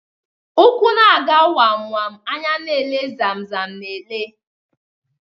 Úkwù na aga wam wam anya na ele zam zam na ele.